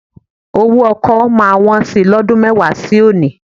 Owó ọkọ́ máa wọn sí i lọ́dún mẹ́wàá sí òní